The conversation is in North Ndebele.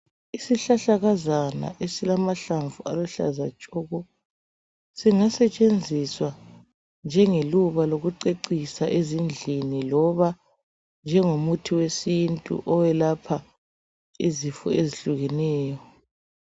Isihlahlakazana esilamahlamvu aluhlaza tshoko. Singasetshenziswa njengeluba lokucecisa ezindlini, loba njengomuthi wesintu owekwelapha izifo ezihlukeneyo.